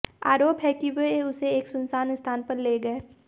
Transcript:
आरोप है कि वे उसे एक सुनसान स्थान पर ले गए